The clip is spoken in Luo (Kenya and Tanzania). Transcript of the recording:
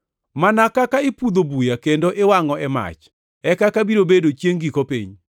“Mana kaka ipudho buya kendo iwangʼo e mach, e kaka biro bedo chiengʼ giko piny.